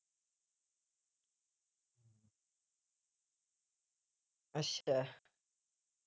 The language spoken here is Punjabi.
ਅੱਛਾ